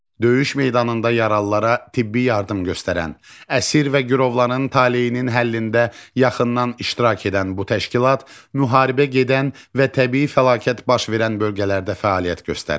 Döyüş meydanında yaralılara tibbi yardım göstərən, əsir və girovların taleyinin həllində yaxından iştirak edən bu təşkilat müharibə gedən və təbii fəlakət baş verən bölgələrdə fəaliyyət göstərir.